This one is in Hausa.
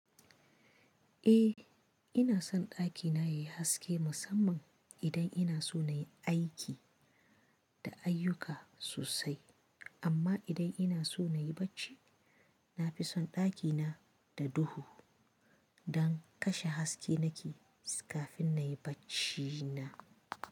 Eh ina son ɗakina yayi haske musamman idan ina so nayi aiki da ayuka sosai. Amma idan ina so nayi bacci, nafison ɗakina da duhu, don kashe haske nake kafin nayi bacci na.